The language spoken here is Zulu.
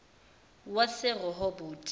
waserehoboti